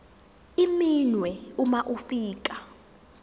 iminwe uma ufika